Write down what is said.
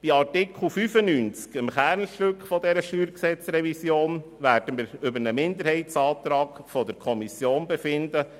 Bei Artikel 95, dem Kernstück dieser StG-Revision, werden wir über einen Minderheitsantrag der Kommission befinden.